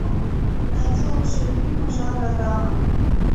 найди лучшие фильмы жанра драма